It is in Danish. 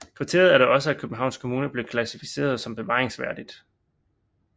Kvarteret er da også af Københavns Kommune blevet klassificeret som bevaringsværdigt